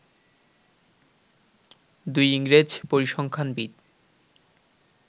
দুই ইংরেজ পরিসংখ্যানবিদ